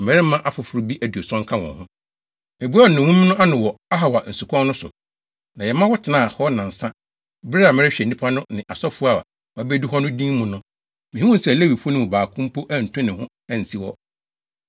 Meboaa nnommum no ano wɔ Ahawa nsukwan no so, na yɛma wɔtenaa hɔ nnansa, bere a merehwɛ nnipa no ne asɔfo a wɔabedu hɔ no din mu no, mihuu sɛ Lewifo no mu baako mpo antu ne ho ansi hɔ.